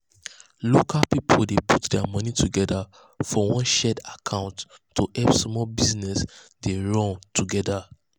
local people dey put their money together um for one shared account to help small business dem run together.